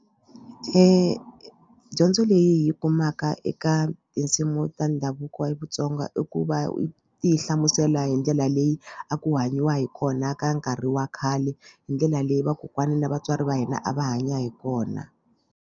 Dyondzo leyi kumaka eka tinsimu ta ndhavuko wa Vatsonga i ku va ti hlamusela hi ndlela leyi a ku hanyiwa hi kona ka nkarhi wa khale hi ndlela leyi vakokwana na vatswari va hina a va hanya hi kona.